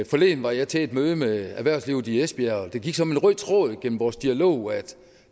forleden var jeg til et møde med erhvervslivet i esbjerg og det gik som en rød tråd gennem vores dialog at